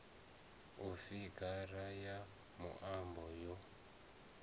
ya figara ya muambo yo